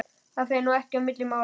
Það fer nú ekki á milli mála